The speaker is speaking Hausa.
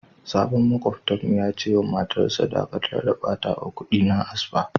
Sabon makwabta'n mu ya ce ma matan sa" Dakatar da batawa kudi na a spa!"